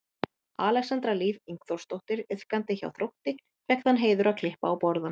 Alexandra Líf Ingþórsdóttir iðkandi hjá Þrótti fékk þann heiður að klippa á borðann.